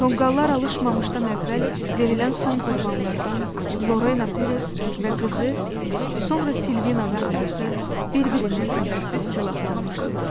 Tonqallar alışmamışdan əvvəl verilən son qurbanlardan, Lorena Peres və qızı, sonra Silvina və anası bir-birindən xəbərsiz silahlanmışdılar.